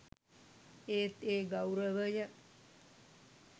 ඒත් ඒ ගෞරවය